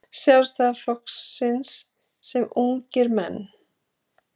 Sjálfstæðisflokksins sem ungir menn.